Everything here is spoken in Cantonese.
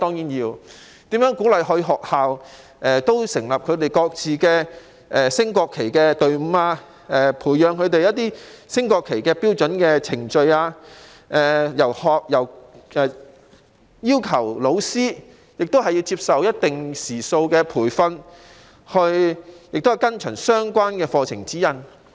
所以，當局須鼓勵學校成立本身的升國旗隊伍，培養隊員對升掛國旗標準程序的認識，亦須要求老師接受一定時數的培訓，依循相關課程指引。